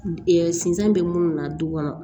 sinsan bɛ munnu na du kɔnɔ